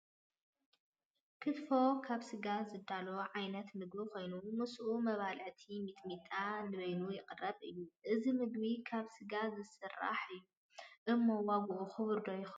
ክትፎ ካብ ስጋ ዝዳሎ ዓይነት ምግቢ ኮይኑ ምስኡ መባልዒ ሚጥሚጣ ንበይኑ ይቐርብ እዩ፡፡ እዚ ምግቢ ካብ ስጋ ዝሰራሕ እዩ እሞ ዋግኡ ክቡር ዶ ይኸውን?